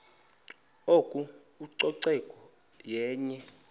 oko ucoceko yenye